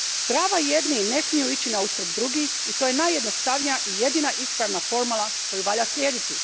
Prava jednih ne smiju ići na uštrb drugih i to je najjednostavnija i jedina ispravna formula koju valja slijediti.